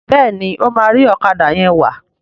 Béèni o ma ri Ọ̀kadà yén wá.